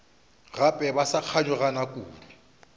gape ba sa kganyogana kudu